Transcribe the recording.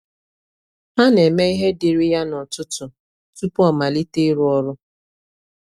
Ọ na eme ihe diri ya n'ọtụtụ tupu ọ malite iru ọrụ